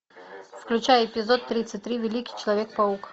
включай эпизод тридцать три великий человек паук